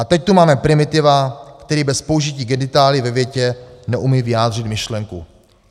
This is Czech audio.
A teď tu máme primitiva, který bez použití genitálií ve větě neumí vyjádřit myšlenku." -